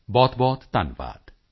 ਬਹੁਤਬਹੁਤਧੰਨਵਾਦ